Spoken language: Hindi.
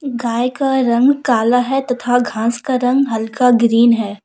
गाय का रंग काला है तथा घास का रंग हल्का ग्रीन है।